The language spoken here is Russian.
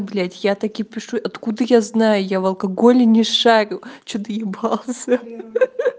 блять я так и пишу откуда я знаю я в алкоголе не шарю что доебался ха-ха